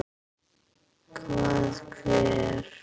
Hvað, hver?